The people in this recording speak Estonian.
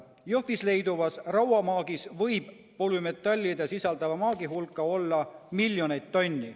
Jõhvis leiduvas rauamaagis võib polümetalle sisaldava maagi hulk olla miljoneid tonne.